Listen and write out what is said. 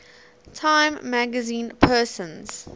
time magazine persons